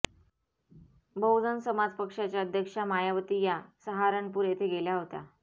बहुजन समाज पक्षाच्या अध्यक्षा मायावती या सहारनपूर येथे गेल्या होत्या